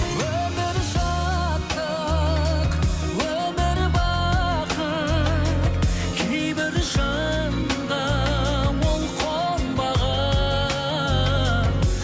өмір шаттық өмір бақыт кейбір жанға ол қонбаған